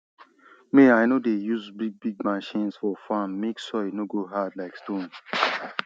me i no dey use bigbig machines for farm make soil no go hard like stone